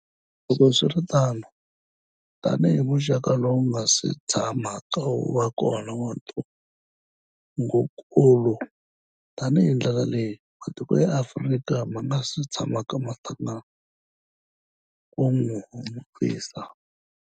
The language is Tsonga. Loko swi ri tano, tanihi muxaka lowu wu nga si tshamaka wu va kona wa ntungukulu, na hi ndlela leyi matiko ya Afrika ma nga si tshamaka ma hlangana ku wu lwisa.